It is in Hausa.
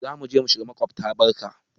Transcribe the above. Za mu shiga maƙobta barka.